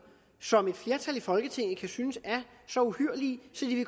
som et flertal i folketinget kan synes er så uhyrlige